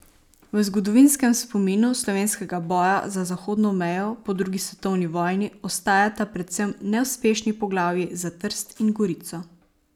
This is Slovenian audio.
V zgodovinskem spominu slovenskega boja za zahodno mejo po drugi svetovni vojni ostajata predvsem neuspešni poglavji za Trst in Gorico.